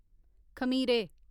खमीरे